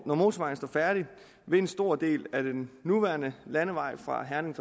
når motorvejen står færdig vil en stor del af den nuværende landevej fra herning